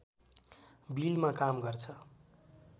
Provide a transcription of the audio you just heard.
बिलमा काम गर्छ